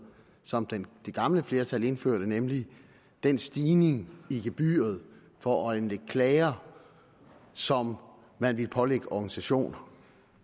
som det gamle flertal indførte nemlig den stigning i gebyret for at anlægge klager som man ville pålægge organisationer